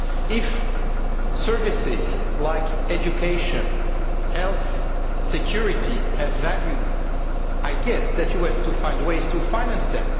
If services like education, health and security have value, I guess that you have to find ways to finance them.